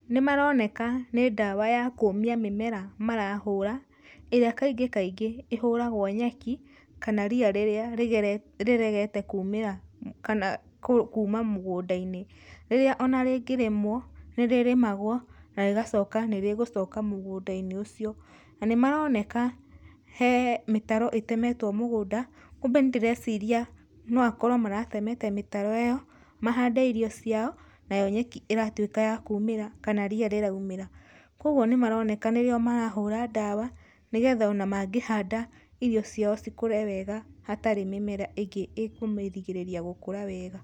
Nĩmaroneka nĩ ndawa ya kũũmia mĩmera marahũra, ĩrĩa kaingĩ kaingĩ ĩhũragwo nyeki kana ria rĩrĩa rĩgerete, rĩregete kuumĩra kana kuuma mũgũnda-inĩ, rĩrĩa ona rĩngĩrĩmwo nĩrĩrĩmagwo na rĩgacoka nĩrĩgũcoka mũgũnda-inĩ ũcio. Na nĩmaroneka he mĩtaro ĩtemetwo mũgũnda, kumbe nĩndĩreciria no akorwo maratemete mĩtaro ĩyo mahande irio ciao, nayo nyeki ĩratuĩka ya kuumĩra kana ria rĩraumĩra. Kwogwo nĩmaroneka nĩrĩo marahũra ndawa nĩgetha ona mangĩhanda, irio ciao cikũre wega hatarĩ mĩmera ĩngĩ ĩkũmĩrigĩrĩria gũkũra wega.